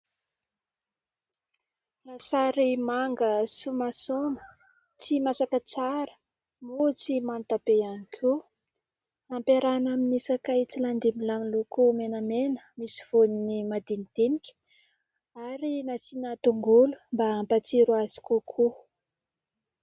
Lasary manga somasoma, tsy masaka tsara moa tsy manta be ihany koa, ampiarahina amin'ny sakay tsy landimilahy miloko menamena, misy voniny madinidinika ary nasiana tongolo mba hampatsiro azy kokoa.